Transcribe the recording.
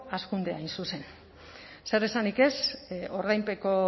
hazkundea hain zuzen zer esanik ez ordainpeko